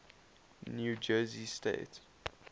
new jersey state